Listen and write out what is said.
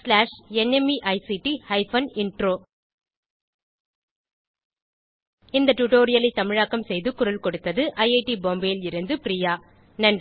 slash NMEICT hyphen intro இந்த டுடோரியலை தமிழாக்கம் செய்து குரல் கொடுத்தது ஐஐடி பாம்பேவில் இருந்து பிரியா